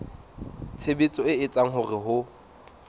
tshebetso e etsang hore ho